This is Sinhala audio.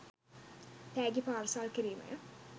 තෑගි පාර්සල් කිරීමය